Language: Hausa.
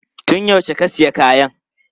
Tun yaushe ka sayi kayan?